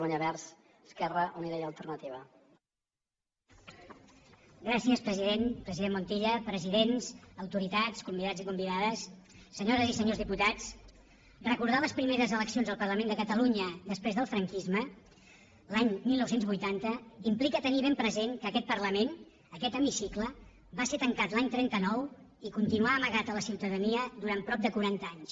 president montilla presidents autoritats convidats i convidades senyores i senyors diputats recordar les primeres eleccions al parlament de catalunya després del franquisme l’any dinou vuitanta implica tenir ben present que aquest parlament aquest hemicicle va ser tancat l’any trenta nou i continuà amagat a la ciutadania durant prop de quaranta anys